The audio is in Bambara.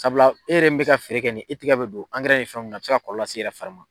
Sabula e yɛrɛ min be ka feere kɛ nin ye e tigɛ be don angɛrɛ ni fɛnw na a be se ka kɔlɔlɔ las'i yɛrɛ fari ma